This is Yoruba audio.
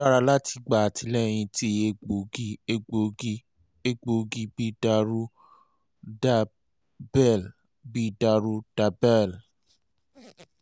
o dara lati gba atilẹyin ti egboogi egboogi egboogi bi daruhridrabbl bi daruhridrabbl